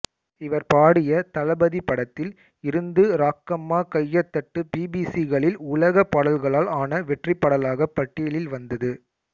இவர் பாடிய தளபதி படத்தில் இருந்து ராக்கம்மா கையத்தட்டு பிபிசி களில் உலக பாடல்களால் ஆன வெற்றிப்பாடலாக பட்டியலில் வந்தது